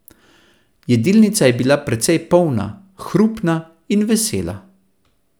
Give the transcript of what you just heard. Jedilnica je bila precej polna, hrupna in vesela.